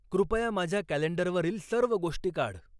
कृपया माझ्या कॅलेंडरवरील सर्व गोष्टी काढ